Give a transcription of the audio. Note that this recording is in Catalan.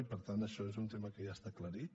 i per tant això és un tema que ja està aclarit